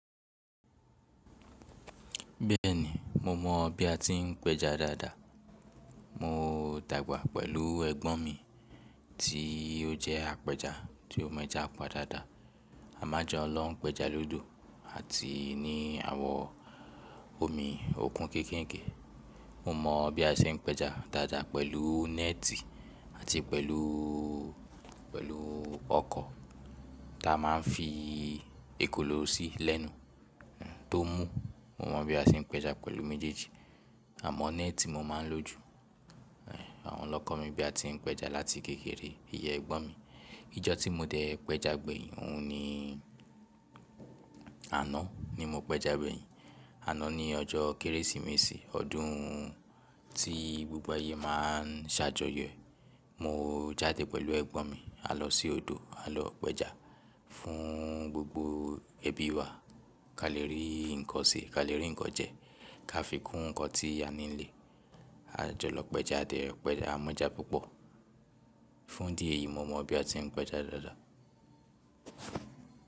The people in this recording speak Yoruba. Bẹ́ẹ̀ni, mo mọ̀ bí a ti ń péja dáadáa. Mo dàgbà pẹ̀lú ẹ̀gbọ́n mi tí ó jẹ́ apẹja tí ó mejà padadáa. A máa jọ lọ péja lódò àti ní àwọ̀ omi òkun kéékèèké. Mo mọ̀ bí a ṣe ń péja dáadáa pẹ̀lú nẹ́ẹ̀tì àti pẹ̀lú, pẹ̀lú ọkọ̀ ta máa ń fi ekòló sí lẹ́nu tó mú. Mo mọ̀ bí a ti ń péja pẹ̀lú méjèèjì àmọ́ nẹ́ẹ̀tì mo máa ń lò ju. Àwọn lọ́kọ̀ mi bí a ti ń péja láti kékeré, ìyen ẹ̀gbọ́n mi. Ìjọ́ tí mo dẹ̀ péja gbẹ̀yìn, òun ni àná ni mo péja gbẹ̀yìn. Àná ni ọjọ́ kérésìmesì ọdún tí gbogbo ayé má a ń ṣàjọyọ̀ e. Mo jáde pẹ̀lú ẹ̀gbọ́n mi, a lọ sí odò, a lọ péja fún gbogbo ẹbí wa. Ka lé rí nǹkan ṣe, ka lé rí nǹkan jẹ, ká fi kun nǹkan tí a ní nílé. A jọ lọ péja diẹ, péja a mọ́jà púpọ̀. Fún idi eyi mo mọ̀ bí a ti ń péja dáadáa.